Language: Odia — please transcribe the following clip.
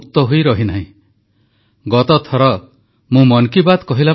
ଦୁଇଗଜ ଦୂରତା ରକ୍ଷା ମାସ୍କ ପିନ୍ଧିବା ଓ ହାତ ସଫା କରିବା ଆଦି ନିୟମକୁ କଡ଼ାକଡ଼ି ପାଳନ କରନ୍ତୁ ପ୍ରଧାନମନ୍ତ୍ରୀ